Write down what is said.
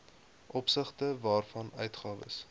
opsigte waarvan uitgawes